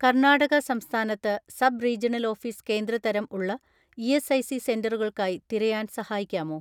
"കർണാടക സംസ്ഥാനത്ത് sub regional office കേന്ദ്ര തരം ഉള്ള ഇ.എസ്.ഐ.സി സെന്ററുകൾക്കായി തിരയാൻ സഹായിക്കാമോ?"